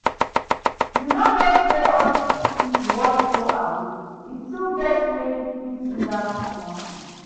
You no know say all dis things you wan throway e still get way you fit use am do something